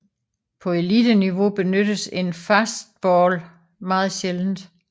På eliteniveau benyttes en fastball meget sjældent